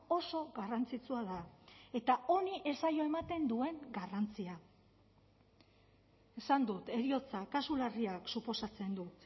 oso garrantzitsua da eta honi ez zaio ematen duen garrantzia esan dut heriotza kasu larriak suposatzen du